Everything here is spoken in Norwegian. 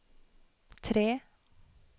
tre